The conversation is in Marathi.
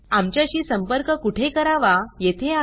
आमच्याशी संपर्क कुठे करावा येथे आहे